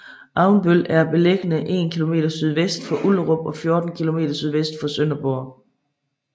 Avnbøl er beliggende en kilometer sydvest for Ullerup og 14 kilometer nordvest for Sønderborg